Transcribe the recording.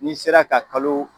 N'i sera ka kalo